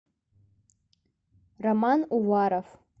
роман уваров